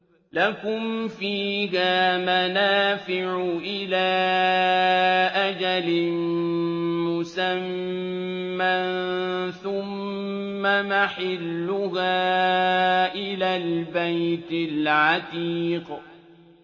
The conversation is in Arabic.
لَكُمْ فِيهَا مَنَافِعُ إِلَىٰ أَجَلٍ مُّسَمًّى ثُمَّ مَحِلُّهَا إِلَى الْبَيْتِ الْعَتِيقِ